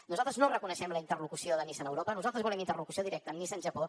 nosaltres no reconeixem la interlocució de nissan europa nosaltres volem interlocució directa amb nissan japó